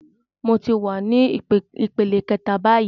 Mo ti wa ní ìpele kẹta báyìí